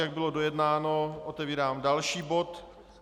Jak bylo dojednáno, otevírám další bod.